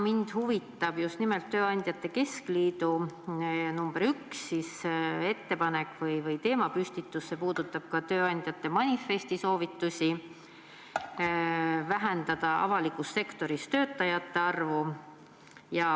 Mind huvitab just nimelt tööandjate keskliidu ettepanek või teemapüstitus nr 1, see puudutab ka tööandjate manifesti soovitusi vähendada avalikus sektoris töötajate arvu.